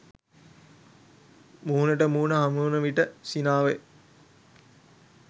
මුහුණට මුහුණ හමුවන විට සිනාවය